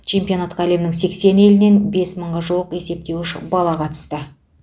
чемпионатқа әлемнің сексен елінен бес мыңға жуық есептеуіш бала қатысты